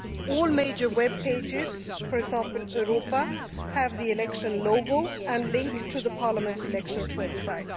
All major web pages, for example Europa, have the election logo and link to Parliament's elections website.